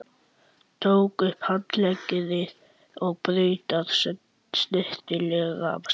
Tók upp handklæðið og braut það snyrtilega saman.